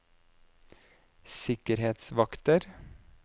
sikkerhetsvakter